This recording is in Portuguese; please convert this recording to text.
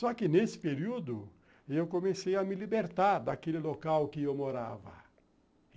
Só que nesse período, eu comecei a me libertar daquele local que eu morava.